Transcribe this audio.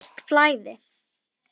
Þarna er visst flæði.